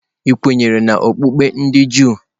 Ị kwenyere n'okpukpe ndị Juu?